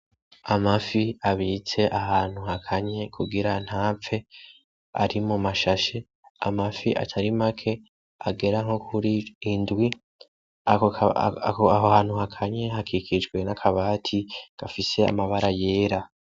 Amafi abitse ahantu hakanye kugira ntapfe ari mu mashashe. Amafi atari make agera nko kuri indwi, aho hantu hakanye hakikijwe n'akabati gafise amabara yera.